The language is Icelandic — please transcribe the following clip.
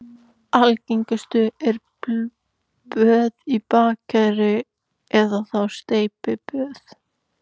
Algengust eru böð í baðkeri eða þá steypiböð.